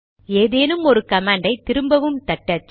ஏதேனும் ஒரு கமாண்டை திரும்பவும் தட்டச்ச